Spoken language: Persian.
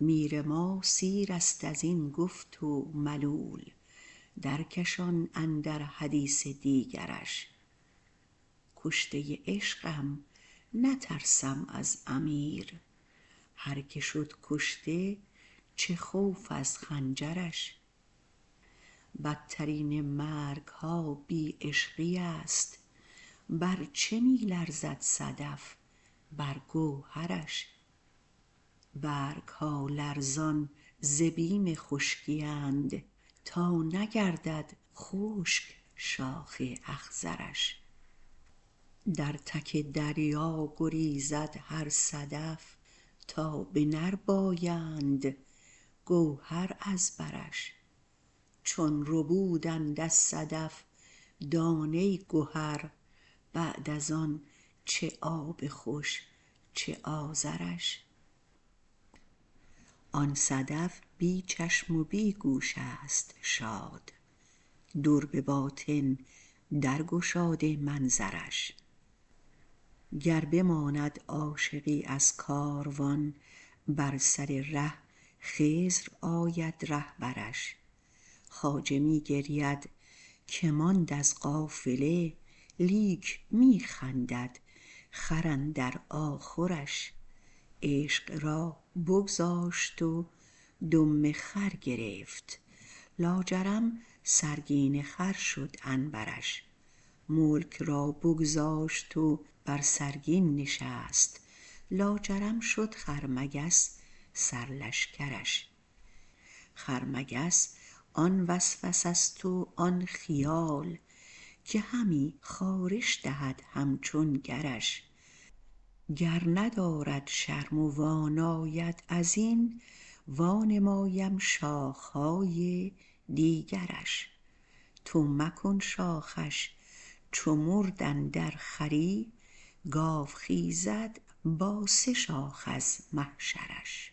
میر ما سیرست از این گفت و ملول درکشان اندر حدیث دیگرش کشته عشقم نترسم از امیر هر کی شد کشته چه خوف از خنجرش بترین مرگ ها بی عشقی است بر چه می لرزد صدف بر گوهرش برگ ها لرزان ز بیم خشکی اند تا نگردد خشک شاخ اخضرش در تک دریا گریزد هر صدف تا بنربایند گوهر از برش چون ربودند از صدف دانه گهر بعد از آن چه آب خوش چه آذرش آن صدف بی چشم و بی گوش است شاد در به باطن درگشاده منظرش گر بماند عاشقی از کاروان بر سر ره خضر آید رهبرش خواجه می گرید که ماند از قافله لیک می خندد خر اندر آخرش عشق را بگذاشت و دم خر گرفت لاجرم سرگین خر شد عنبرش ملک را بگذاشت و بر سرگین نشست لاجرم شد خرمگس سرلشکرش خرمگس آن وسوسه ست و آن خیال که همی خارش دهد همچون گرش گر ندارد شرم و واناید از این وانمایم شاخ های دیگرش تو مکن شاخش چو مرد اندر خری گاو خیزد با سه شاخ از محشرش